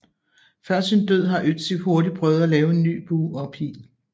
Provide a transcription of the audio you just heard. Før sin død har Ötzi hurtigt prøvet at lave en ny bue og pile